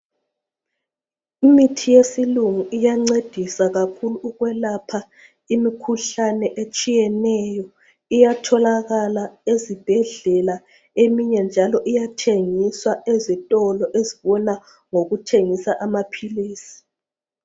Imithi yesilungu iyancedisa kakhulu ukwelapha imikhuhlane etshiyeneyo iyatholakala ezibhedlela eminye njalo iyathengiswa ezitolo ezibona ngokuthengisa amaphilisi.